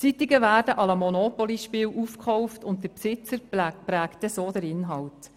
Zeitungen werden wie im Monopoly-Spiel aufgekauft, und der Besitzer prägt dann den Inhalt.